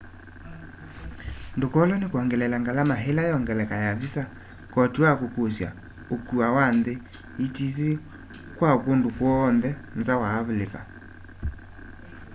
ndukolwe ni kwongeleela ngalama ila yongeleka ya visas koti wa kukusya ukua wa nthi etc kwa kundu kw'oonthe nza wa avilika